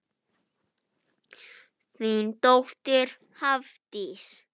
Þín dóttir Hafdís.